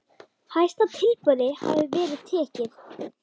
Hæsta tilboði hafi verið tekið.